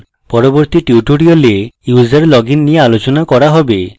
পরবর্তী tutorial user login নিয়ে আলোচনা করা হবে